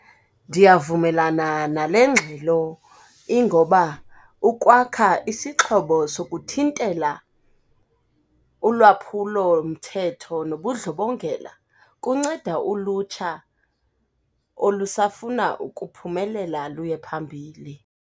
Ndiyavumelana nale ngxelo ingoba ukwakha isixhobo sokuthintela ulwaphulomthetho nobundlobongela kunceda ulutsha olusafuna ukuphumelela luye phambili.